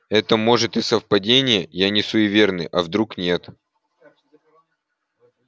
это может и совпадения я не суеверный а вдруг нет